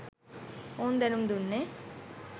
ඔවුන් දැනුම්දුන්නේ